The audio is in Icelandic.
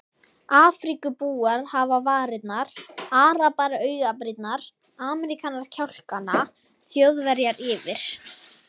Afríkubúar hafa varirnar, arabar augabrýrnar, Ameríkanar kjálkana, Þjóðverjar yfir